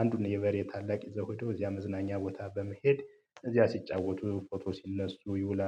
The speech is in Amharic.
አንዱን የበሬ ታላቅ ይዘው ሄዶ እዚያ መዝናኛ ቦታ በመሄድ እዚያ ሲጫወቱ ፎቶ ሲነሱ ይውላል